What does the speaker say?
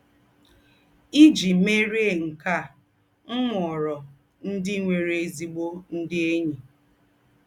Ìjì mèríé nkè á, m mụ́ọrọ̀ ndị̀ nwèrè ézígbò ndị̀ ényí.